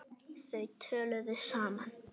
Þau töluðu saman.